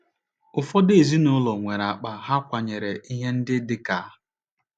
Ụfọdụ ezinụlọ nwere akpa ha kwanyere ihe ndị dị ka